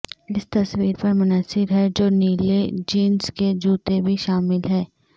اس تصویر پر منحصر ہے جو نیلے جینس کے جوتے بھی شامل ہیں